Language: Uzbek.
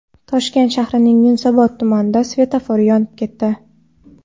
Toshkent shahrining Yunusobod tumanida svetofor yonib ketdi .